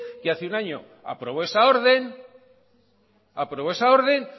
que hace un año que aprobó esa orden